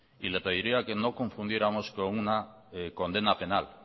y le pediría que no confundiéramos con una condena penal